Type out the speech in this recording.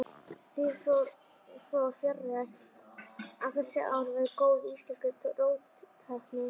Því fór fjarri að þessi ár væru góð íslenskri róttækni.